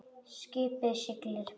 Skipið siglir.